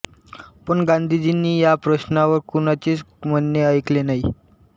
पण गांधीजींनी ह्या प्रश्नावर कुणाचेच म्हणणे ऐकले नाही